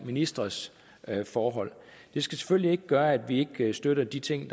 ministres forhold det skal selvfølgelig ikke gøre at vi ikke støtter de ting